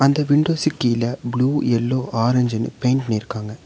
அந்த விண்டோஸுக்கீழ blue yellow ஆரஞ்சுனு பெயிண்ட் பண்ணிருக்காங்க.